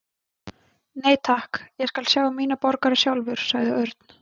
Nei, takk, ég skal sjá um mína borgara sjálfur sagði Örn.